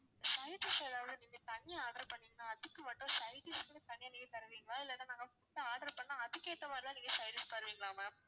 side dish எதாவது நீங்க தனியா order பண்ணீங்கன்னா அதுக்கு மட்டும் side dish வந்து தனியா நீங்க தருவீங்களா இல்லன்னா நாங்க food order பண்ணா அதுக்கேத்த மாதிரி தான் நீங்க side dish தருவீங்களா ma'am